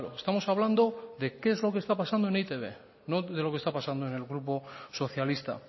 estamos hablando de qué es lo que está pasando en e i te be no de lo que estamos hablando en el grupo socialista